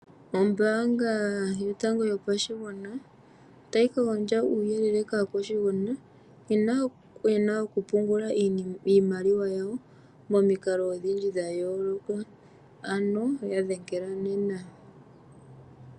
Ombaanga Yotango Yopashigwana otayi gandja uuyelele kaakwashigwana nkene ye na okupungula iimaliwa yawo momikalo odhindji dha yooloka. Ano ya dhengela nena.